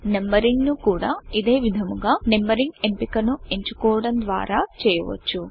నంబరింగ్ను కూడా ఇదే విధముగా నంబరింగ్ ఎంపికను ఎంచుకోవడం ద్వారా చేయవచ్చు